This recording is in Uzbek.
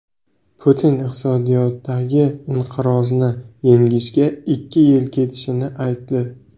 Putin iqtisodiyotdagi inqirozni yengishga ikki yil ketishini aytdi.